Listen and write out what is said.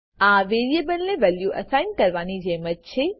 આ વેરીએબલને value assign કરવાની જેમ જ છે